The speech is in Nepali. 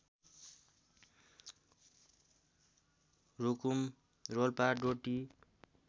रुकुम रोल्पा डोटी